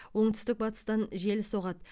оңтүстік батыстан жел соғады